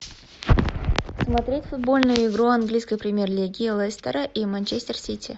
смотреть футбольную игру английской премьер лиги лестера и манчестер сити